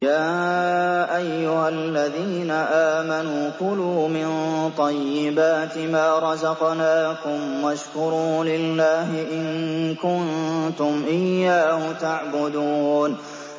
يَا أَيُّهَا الَّذِينَ آمَنُوا كُلُوا مِن طَيِّبَاتِ مَا رَزَقْنَاكُمْ وَاشْكُرُوا لِلَّهِ إِن كُنتُمْ إِيَّاهُ تَعْبُدُونَ